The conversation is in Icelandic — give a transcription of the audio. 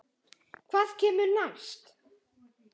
Hvað kemur næst?